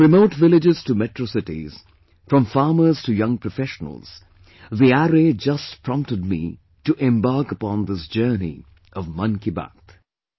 From remote villages to Metro cities, from farmers to young professionals ... the array just prompted me to embark upon this journey of 'Mann Ki Baat'